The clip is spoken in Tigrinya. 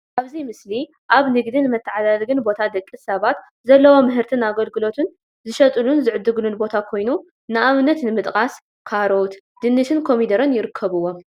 ኣብዚ ምስሊ ኣብ ንግድን መተዓዳደግን ቦታ ደቂ ሰባት ዘለዎም ምህርትን ኣገልግሎትን ዝሸጥሉን ዝዕጉሉን ቦታ ኮይኑ ንኣብነት ንምጥቃስ ፡- ካሮት፣ ድንሽን ኮሚደረን ይርከቡዎም፡፡